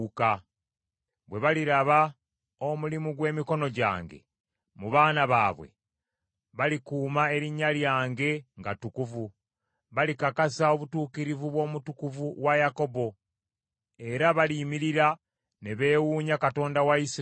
Bwe baliraba omulimu gw’emikono gyange mu baana baabwe, balikuuma erinnya lyange nga ttukuvu. Balikakasa obutuukirivu bw’Omutukuvu wa Yakobo era baliyimirira ne beewuunya Katonda wa Isirayiri.